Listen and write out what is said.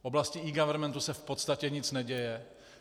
V oblasti eGovernmentu se v podstatě nic neděje.